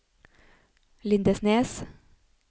Lindesnes